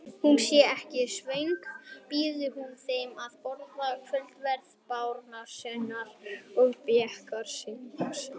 Sé hún ekki svöng býður hún þeim að borða kvöldverð barónessunnar og berklasjúklingsins.